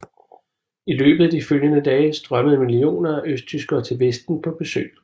I løbet af de følgende dage strømmede millioner af østtyskere til Vesten på besøg